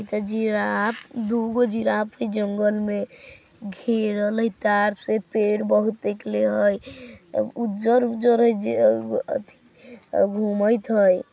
इत जिराफ़ दूगो जिराफ़ जंगल मै गेरल है तार से पेड़ बहुत निकले है उजर् -उजर् गुमाइरत है।